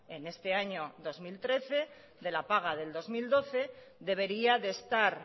en este año dos mil trece de la paga del dos mil doce debería de estar